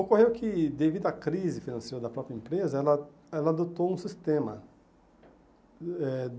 Ocorreu que, devido à crise financeira da própria empresa, ela ela adotou um sistema.